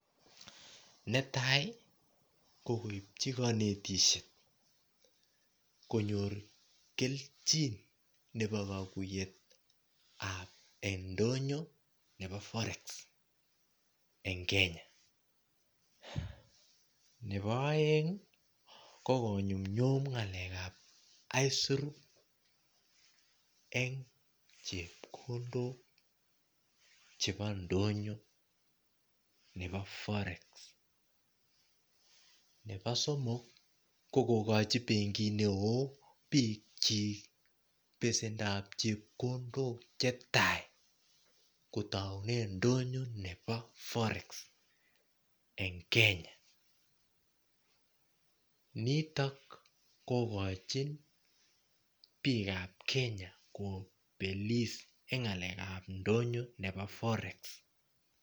Netai ko kopichi kabatisyeet konyoor keljiin ab ndonyoo nebo [forex] nebo a eng emet ab kenya nebo a eng ii ko ko yum yum ngalek ab aisiruu eng chepkondok chebo ndonyo nebo[forex] ko benkiit koyache kogochii biik kyiik besendo ab chepkondok che tai ko tauneen ndonyo nebo [forex] eng Kenya nitoon kogochii biik ab kenya kobelis eng ngalek ab ndonyoo nebo [forex].